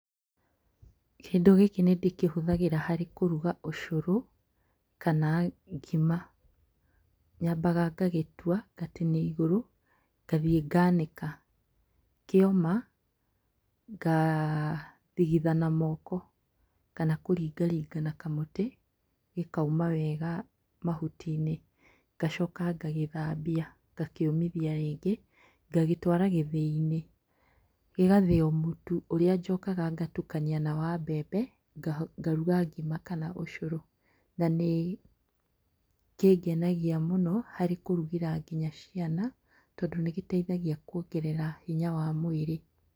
Kĩndũ gĩkĩ nĩndĩkĩhũthagĩra kũruga ũcũrũ, kana ngima. Nyambaga ngagĩtua na igũrũ, ngathiĩ nganĩka. Kĩoma, ngathigitha na moko kana kũringaringa na kamũtĩ, gĩkauma wega mahuti-inĩ. Ngacoka ngagĩthambia, ngakĩũmithia rĩngĩ. Ngagĩtwara gĩthĩ-inĩ, gĩgathĩo mũtu ũrĩa njokaga ngatukania na mbembe. Ngaruga ngima kana ũcũrũ. Na nĩkĩngenagia mũno harĩ kũrugĩra nginya ciana tondũ nĩgĩteithagia kwongerera hinya wa mwĩrĩ.